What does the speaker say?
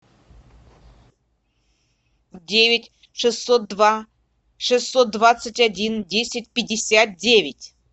девять шестьсот два шестьсот двадцать один десять пятьдесят девять